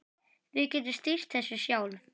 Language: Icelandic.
Við getum stýrt þessu sjálf.